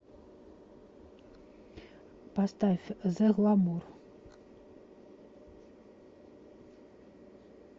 поставь зе гламур